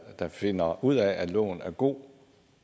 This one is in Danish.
der finder ud af at loven er god